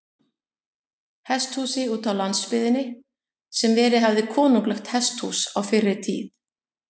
Hesthúsi útá landsbyggðinni, sem verið hafði konunglegt hesthús á fyrri tíð.